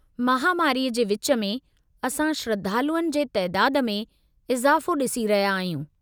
महामारीअ जे विच में, असां श्रद्धालुअनि जे तइदादु में इज़ाफ़ो ॾिसी रहिया आहियूं.